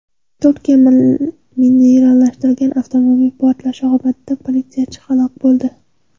Turkiya minalashtirilgan avtomobil portlashi oqibatida politsiyachi halok bo‘ldi.